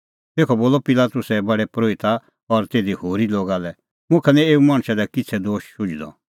तेखअ बोलअ पिलातुसै प्रधान परोहिता और तिधी होरी लोगा लै मुखा निं एऊ मणछा दी किछ़ै दोश शुझदअ